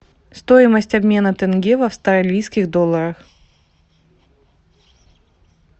стоимость обмена тенге в австралийских долларах